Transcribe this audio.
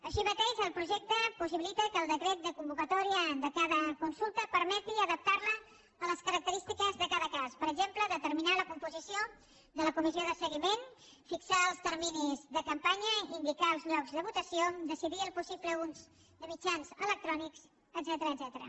així mateix el projecte possibilita que el decret de convocatòria de cada consulta permeti adaptar la a les característiques de cada cas per exemple determinar la composició de la comissió de seguiment fixar els terminis de campanya indicar els llocs de votació decidir el possible ús de mitjans electrònics etcètera